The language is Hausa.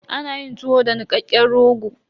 Ana yin tuwo da nikakken rogo.